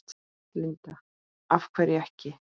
Linda: Af hverju ekki?